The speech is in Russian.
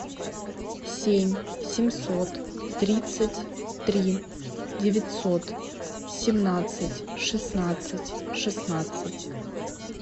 семь семьсот тридцать три девятьсот семнадцать шестнадцать шестнадцать